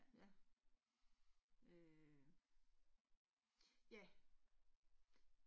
Ja. Øh. Ja